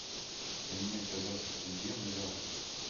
поменять казахский тенге на реал